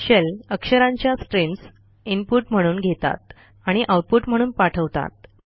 shell अक्षरांच्या streams input म्हणून घेतात आणि आउटपुट म्हणून पाठवतात